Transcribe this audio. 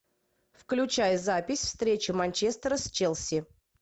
включай запись встречи манчестера с челси